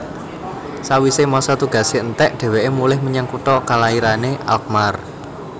Sawisé masa tugasé entèk dhèwèké mulih menyang kutha kalairané Alkmaar